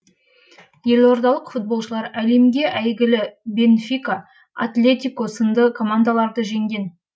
елордалық футболшылар әлемгі әйгілі бенфика атлетико сынды командаларды жеңген